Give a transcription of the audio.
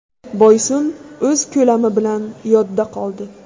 Boysun o‘z ko‘lami bilan yodda qoldi.